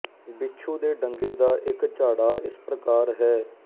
ਬਿੱਛੂ ਦੇ ਡੰਗੇ ਦਾ ਇੱਕ ਝਾੜਾ ਇਸ ਪ੍ਰਕਾਰ ਹੈ